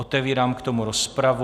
Otevírám k tomu rozpravu.